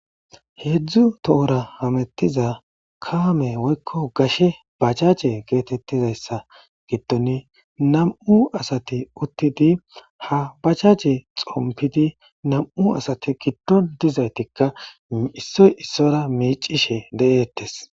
Hedzu tora hamutiza kame woyko gashe bajaje getetizaysa gidon nam'u asati utidi ha bajaje xonfidi nam'u asiati gidon dizaytika issoy issuwara micishe detes